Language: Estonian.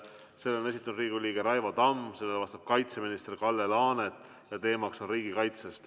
Selle on esitanud Riigikogu liige Raivo Tamm, sellele vastab kaitseminister Kalle Laanet ja teema on riigikaitse.